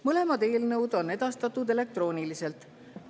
Mõlemad eelnõud on edastatud elektrooniliselt.